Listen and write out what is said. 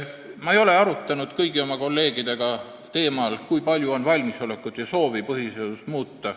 Ma ei ole arutlenud kõigi oma kolleegidega teemal, kui palju on valmisolekut ja soovi põhiseadust muuta.